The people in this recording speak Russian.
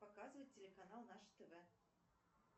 показывать телеканал наше тв